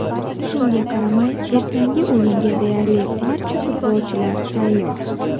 Shunga qaramay, ertangi o‘yinga deyarli barcha futbolchilar tayyor.